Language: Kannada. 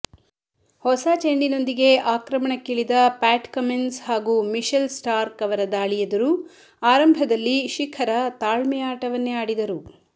ಹೊಸ ಚೆಂಡಿನೊಂದಿಗೆ ಆಕ್ರಮಣಕ್ಕಿಳಿದ ಪ್ಯಾಟ್ ಕಮಿನ್ಸ್ ಹಾಗೂ ಮಿಶೆಲ್ ಸ್ಟಾರ್ಕ್ ಅವರ ದಾಳಿಯೆದುರು ಆರಂಭದಲ್ಲಿ ಶಿಖರ ತಾಳ್ಮೆಯ ಆಟವನ್ನೇ ಆಡಿದರು